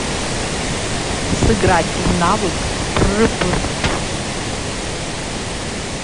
сыграть в навык прпрп